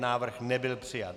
Návrh nebyl přijat.